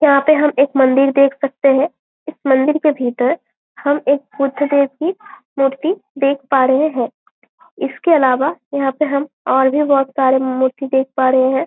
यहाँ पे हम एक मंदिर देख सकते हैंइस मंदिर के भीतर हम एक बुध देव कि मूर्ति देख पा रहें हैं इसके इलावा हम और भी मूर्ति देख पा रहे है।